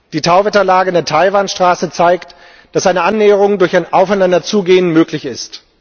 Die Tauwetterlage in der Taiwan Straße zeigt, dass eine Annäherung durch ein Aufeinanderzugehen möglich ist.